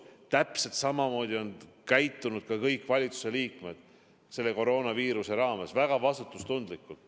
Täpselt samamoodi on käitunud kõik valitsuse liikmed selle koroonaviiruse ajal: väga vastutustundlikult.